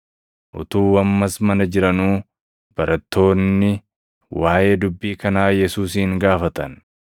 Utuu ammas mana jiranuu barattoonni waaʼee dubbii kanaa Yesuusin gaafatan.